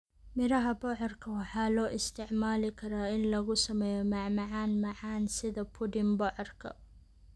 Miraha bocorka waxaa loo isticmaali karaa in lagu sameeyo macmacaan macaan sida pudding bocorka.